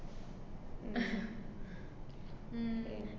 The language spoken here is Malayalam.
ഉം